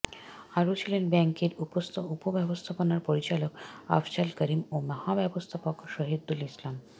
আরো ছিলেন ব্যাংকের উপব্যবস্থাপনা পরিচালক আফজাল করিম ও মহাব্যবস্থাপক শহিদুল ইসলাম